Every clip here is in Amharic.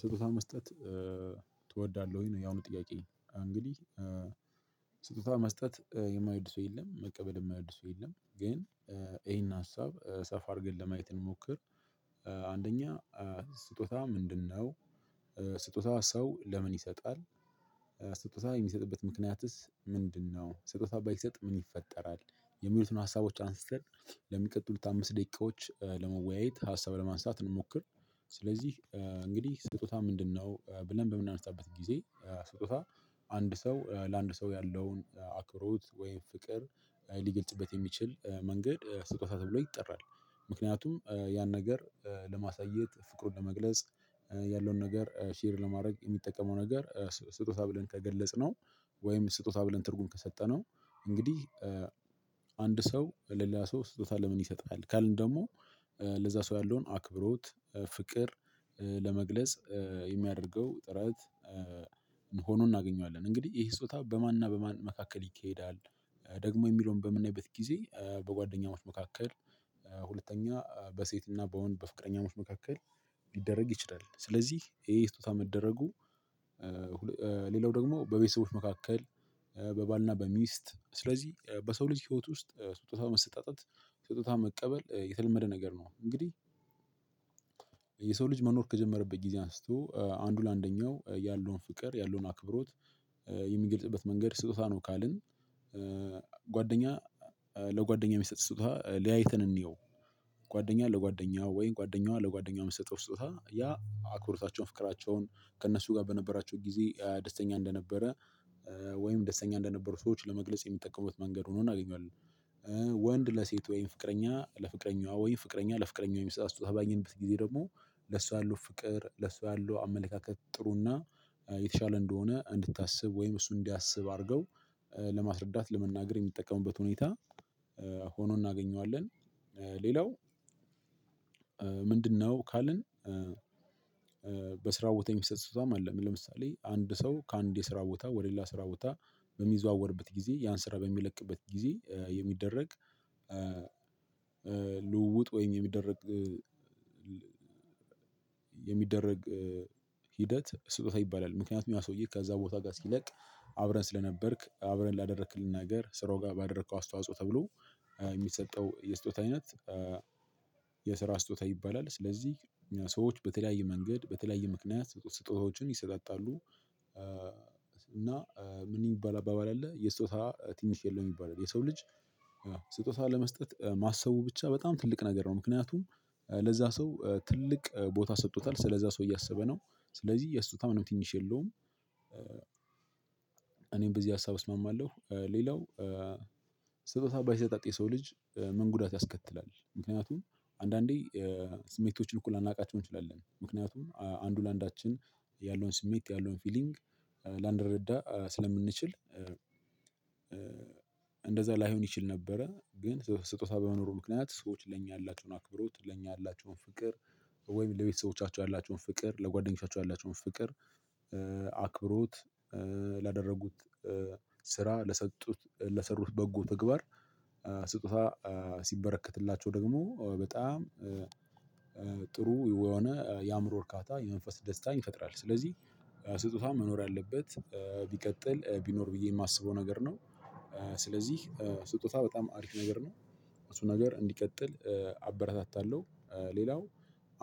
ስጦታ መስጠት ትወዳለህ ያው ነው ጥያቄ እንግዲህ ስጦታ መስጠት የማይወድ ሰው የለም። መቀበልም የማይወድስ የለም። ግን ይሄን ሀሳብ ሰፋ አድርገን ለማየት ብንሞክር አንደኛ ስጦታ ምንድነው? ስጦታው ሰው ለምን ይሰጣል? ስጦታ የሚሰጥበት ምክንያትስ ምንድነው ስጦታ ባይሰጥ ምን ይፈጠራል የሚሉትን ሀሳቦች አንስተን ለሚቀጥሉት አምስት ደቂቃዎች ለመወያየት ሀሳብ ለማንሳት እንሞክር ስለዚህ እንግዲህ ስጦታ ምንድነው ብለን በምናነሳበት ጊዜ ስጦታ አንድ ሰው ለአንድ ሰው ያለውን አክብሮት ወይም ፍቅር ሊገልጽበት የሚችል መንገድ ስጦታ ተብሎ ይጠራል። ምክንያቱም ያን ነገር ለማሳየት ፍቅሩን ለመግለጽ ያለውን ነገር ሼር ለማድረግ የሚጠቀመው ነገር ስጦታ ብለን ከገለጽነው ወይም ስጦታ ብለን ትርጉም ከሰጠነው እንግዲህ አንድ ሰው ሌላ ሰው ስጦታ ለምን ይሰጣል ካልን ደግሞ ለዛ ሰው ያለውን አክብሮት፣ ፍቅር ለመግለጽ የሚያደርገው ጥረት ሆኖ እናገኘዋለን። እንግዲህ ይሄ ሶጦታ በማንና በማን መካከል ይካሄዳል? ደግሞ የሚለውን በምናይበት ጊዜ በጓደኛሞች መካከል ሁለተኛ በሴት እና በወንድ በፍቅረኛው መካከል ቢደረግ ይችላል። ስለዚህ ይሄ ስጦታ መደረጉ ሌላው ደግሞ በቤተሰቦች መካከል በባልና በሚስት ስለዚህ በሰው ልጅ ህይወት ውስጥ ስጦታው መሰጣጠት ስጦታ መቀበል የተለመደ ነገር ነው። እንግዲህ የሰው ልጅ መኖር ከጀመረበት ጊዜ አንስቶ አንዱ ለአንደኛው ያለውን ፍቅር ያለውን አክብሮት የሚገልጽበት መንገድ ስጦታ ነው ካልን ጓደኛ ለጓደኛ የሚሰጥ ስጦታ ለያይተን እንየው ጓደኛ ለጓደኛዋ ወይ ጓደኛዋ ለጓደኛ የሚሰጠው ስጦታ ያ አክብሮታቸውን ፍቅራቸውን ከእነሱ ጋር በነበራቸው ጊዜ ደስተኛ እንደነበረ ወይም ደስተኛ እንደነበሩ ሰዎች ለመግለጽ የሚጠቀሙበት መንገድ ሆኖ እናገኛለን። ወንድ ለሴት ወይም ፍቅረኛ ለፍቅረኛ ወይ ፍቅረኛ ለፍቅረኛ ወይ የሚሰጡ ስጦታ ባገኝበት ጊዜ ደግሞ ለሷ ያሉ ፍቅር ለሱ ያሉ አመለካከት ጥሩና የተሻለ እንደሆነ እንድታስብ ወይም እሱ እንዲያስብ አድርገው ለማስረዳት ለመናገር የሚጠቀሙበት ሁኔታ ሆኖ እናገኘዋለን ሌላው ምንድነው ካልን በስራው ቦታ የሚሰጥ ስጦታም አለ ለምሳሌ አንድ ሰው ከአንድ የስራ ቦታ ወደሌላ ስራ ቦታ በሚዘዋወርበት ጊዜ ያን ስራ በሚለቅበት ጊዜ የሚደረግ ልውውጥ ወይም የሚደረግ ሂደት ስጦታ ይባላል ምክንያቱም ያ ሰውዬ ከዛ ቦታ ጋር ሲለቅ አብረን ስለነበርክ አብረን ላደረክልን ነገር ስራው ጋር ባደረኩ አስተዋጽኦ ተብሎ የሚሰጠው የስጦታ አይነት የስራ ስጦታ ይባላል። ስለዚህ ሰዎች በተለያየ መንገድ በተለያየ ምክንያት ስጦታዎችን ይሰጣጣሉ። እና ምን የሚባል አባባል አለ የስጦታ ትንሽ የለም ይባላል የሰው ልጅ ስጦታ ለመስጠት ማሰቡ ብቻ በጣም ትልቅ ነገር ነው ምክንያቱም ለዛ ሰው ትልቅ ቦታ ሰጥቶታል ስለዛ ሰው እያሰበ ነው ስለዚህ የሱታ ምንም ትንሽ የለውም እኔም በዚህ ሀሳብ እስማማለሁ። ሌላው ስጦታ ባይሰጣጥ የሰው ልጅ ምን ጉዳት ያስከትላል ምክንያቱም አንዳንዴ ስሜቶችን እኩል ላናቃቼው እንችላለን። ምክንያቱም አንዱ ለአንዳችን ያለውን ስሜት ያለውን ፊሊንግ ላንረዳ ስለምንችል እንደዛ ላይሆን ይችል ነበረ ግን በስጦታ በመኖሩ ምክንያት ሰዎች ለእኛ ያላቸውን አክብሮት ለእኛ ያላቸውን ፍቅር ወይም ለቤተሰቦቻቸው ያላቸውን ፍቅር ለጓደኞቻቸው ያላቸውን ፍቅር አክብሮት ላደረጉት ስራ ለሰጡት ለሰሩት በጎ ተግባር ስጦታ ሲበረከትላቸው ደግሞ በጣም ጥሩ የሆነ የአእምሮ እርካታ የመንፈስ ደስታ ይፈጥራል ስለዚህ ስጦታውን መኖር አለበት ቢቀጥል ቢኖር ብዬ የማስበው ነገር ነው ስለዚህ ስጦታ በጣም አሪፍ ነገር ነው እሱ ነገር እንዲቀጥል አበረታታለሁ ሌላው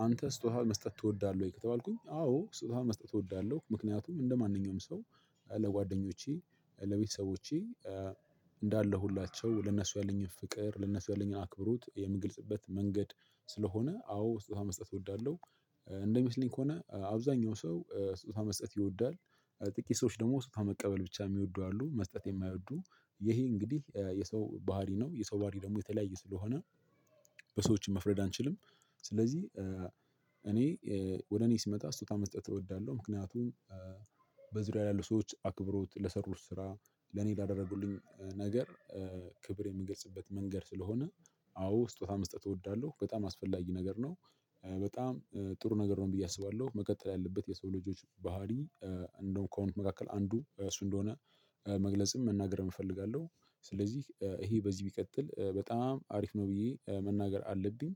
አንተ ስጦታውን መስጠት ትወዳለህ ወይ ከተባልኩኝ አዎ ስጦታ መስጠት እወዳለሁ ምክንያቱም እንደማንኛውም ሰው ለጓደኞቼ ለቤተሰቦቼ እንዳለሁ ሁላቸው ለነሱ ያለኝን ፍቅር ለእነሱ ያለኝን አክብሩት የምግልጽበት መንገድ ስለሆነ አዎ ስጦታ መስጠት እወዳለሁ እንደሚመስለኝ ከሆነ አብዛኛው ሰው ስጦታ መስጠት ይወዳል ጥቅት ሰዎች ደግሞ ስጦታ መቀበል ብቻ የሚወዱ አሉ መስጠት የማይወዱ ይሄ እንግዲህ የሰው ባህሪ ነው የሰው ባህሪ ደግሞ የተለያየ ስለሆነ በሰዎችም መፍረድ አንችልም ስለዚህ እኔ ወደ እኔ ስመጣ ስጦታ መስጠን እወዳለሁ ምክንያቱም በዙሪያ ላይ ያሉ ሰዎች አክብሮት ለሰሩት ስራ ለኔ ያደረጉልኝ ነገር ክብር የምገልጽበት መንገድ ስለሆነ አዎ ስጦታ መስጠት እወዳለሁ በጣም አስፈላጊ ነገር ነው በጣም ጥሩ ነገር ነው ብዬ አስባለሁ መቀጠል ያለበት የሰው ልጆች ባህሪ እንደው ከሆነ መካከል አንዱ እሱ እንደሆነ መግለጽም መናገርም እፈልጋለሁ ስለዚህ ይሄ በዚህ ቢቀጥል በጣም አሪፍ ነው ብዬ መናገር አለብኝ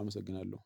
አመሰግናለሁ